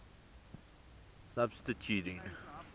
substituting